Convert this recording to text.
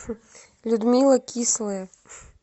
людмила кислая